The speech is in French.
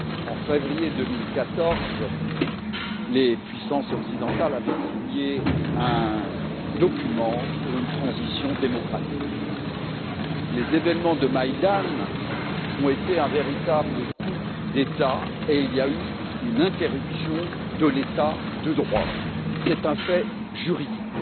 En février 2014, les puissances occidentales avaient signé un document pour une transition démocratique, les événements de Maïdan ont été un véritable coup d'État et il y a eu interruption de l'état de droit. C'est un fait juridique.